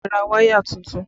Ẹ ra wáyà tuntun!